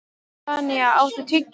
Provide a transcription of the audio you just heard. Tanya, áttu tyggjó?